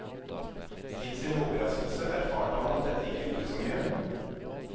Til sin overraskelse erfarte han at dette ikke gjorde så mye.